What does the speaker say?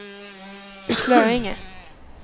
Slöinge